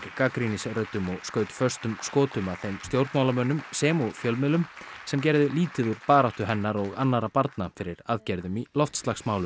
gagnrýnisröddum og skaut föstum skotum að þeim stjórnmálamönnum sem og fjölmiðlum sem gerðu lítið úr baráttu hennar og annarra barna fyrir aðgerðum í loftslagsmálum